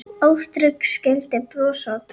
Ástrík skildir bros og tár.